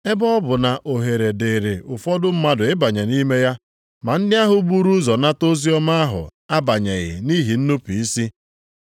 Ebe ọ bụ na ohere dịịrị ụfọdụ mmadụ ịbanye nʼime ya, ma ndị ahụ buru ụzọ nata oziọma ahụ abanyeghị nʼihi nnupu isi.